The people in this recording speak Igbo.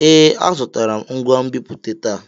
Ee, azụrụ m ngwa nbipute taa.